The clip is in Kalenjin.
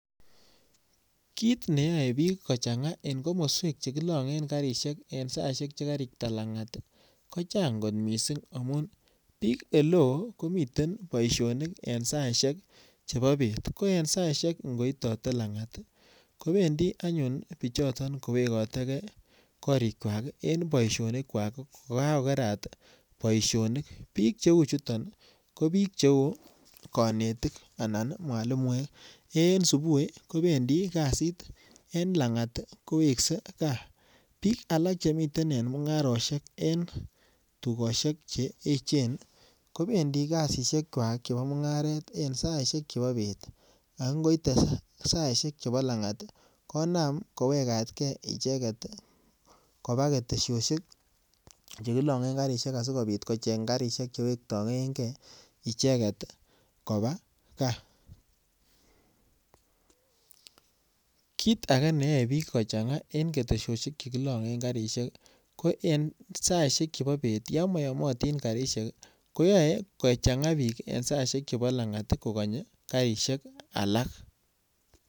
Kit ne yoe biik kochanga eng komoswek chekilangen karisiek en saisiek che karikta langat kochang kot mising amun biik oleoo komiten boisionik en saisiek chebo bet ko en saisiek chebo ngoitote langat kobendi anyun biichoto kowekoteke korikwak en boisionikwak ko kakokerat boisionik. Biik cheu chutun ko biik cheu konetik anan mwalimuek. En subui kobendi kasit, en langat kowekse kaa. Biik alak che miten en mungarosiek en tugosiek che eechen kobendi kasisiekywak chebo mungaret en saisiek chebo bet ago ngoite saisiek chebo langat, konam kowegat ke icheget koba ketesiosiek chekilongen karisiek asigobit kocheng karisiek che wektaenge icheget koba kaa. Kit age neyoe biik kochanga en ketesiosiek che kilongen karisiek ko en saisiek chebobet, yon moyomatin karisiek, koyae kochanga biik en saisiek chebo langat kokonye karisiek alak.